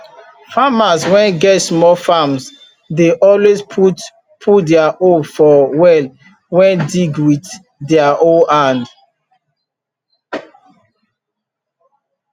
farmers wen get small farms dey always put put dier hope for well wen dig wit dier own hand